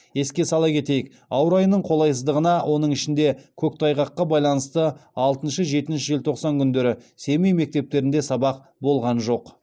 еске сала кетейік ауа райының қолайсыздығына оның ішінде көктайғаққа байланысты алтыншы жетінші желтоқсан күндері семей мектептерінде сабақ болған жоқ